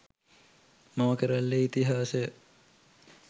මම කැරැල්ලේ ඉතිහාසය